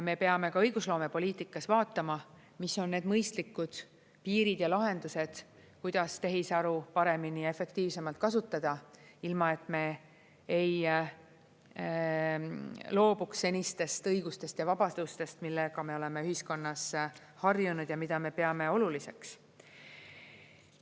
Me peame ka õigusloomepoliitikas vaatama, mis on need mõistlikud piirid ja lahendused, kuidas tehisaru paremini ja efektiivsemalt kasutada, ilma et me ei loobuks senistest õigustest ja vabadustest, millega me oleme ühiskonnas harjunud ja mida me peame oluliseks.